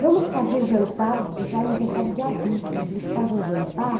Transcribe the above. Vamos fazer jantar já aniversário de adulto, a gente faz um jantar.